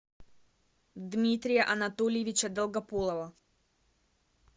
дмитрия анатольевича долгополова